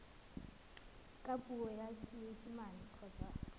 ka puo ya seesimane kgotsa